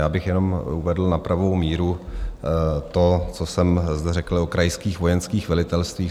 Já bych jenom uvedl na pravou míru to, co jsem zde řekl o krajských vojenských velitelstvích.